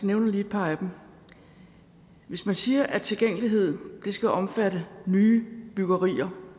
nævner lige et par af dem hvis man siger at tilgængelighed skal omfatte nybyggerier